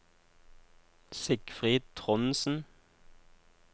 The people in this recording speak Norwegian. Sigfrid Trondsen